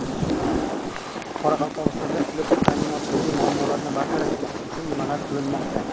Qoraqalpog‘istonda elektr ta’minotidagi muammolarni bartaraf etish uchun nimalar qilinmoqda?